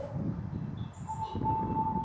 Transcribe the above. Sjálfstraustið eflist mikið.